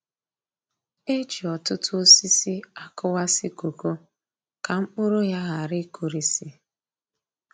E ji òtútù osisi a kụwasị koko ka mkpụrụ ya ghara i kurisi